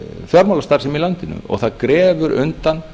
fjármálastarfsemi í landinu og það grefur undan